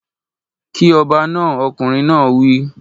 Kí ọba náà!! Ọkùnrin náà wí.